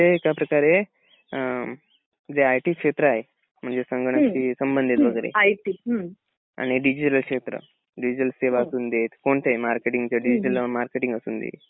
म्हणजे तुमच्या मते एका प्रकारते जे आय टी क्षेत्र आहे म्हणजे संगणकशी संबंधित वगैरे आणि डिजिटल क्षेत्र. डिजिटल सेवा असुंदेत कोणतेही मार्केटिंगच डिजिटल मार्केटिंग असुंदे.